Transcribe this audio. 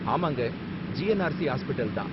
ஆமாங்க, GNRC hospital தான்.